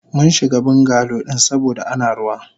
Munshiga bungalow din saboda Ana ruwa.